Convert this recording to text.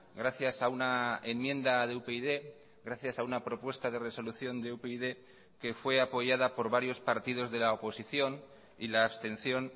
gracias a una enmienda de upyd gracias a una propuesta de resolución de upyd que fue apoyada por varios partidos de la oposición y la abstención